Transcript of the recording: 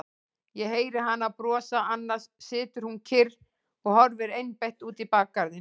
Ég heyri hana brosa, annars situr hún kyrr og horfir einbeitt út í bakgarðinn.